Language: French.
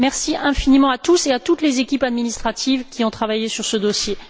Merci infiniment à tous et à toutes les équipes administratives qui ont travaillé sur ce dossier.